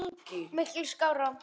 Miklu skárra.